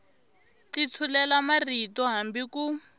ti tshulela marito hambi ku